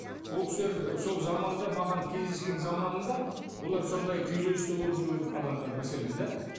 ол кісілер сол заманында маған кездескен заманында олар сондай күйзелісте болып жүрген адамдар мәселен да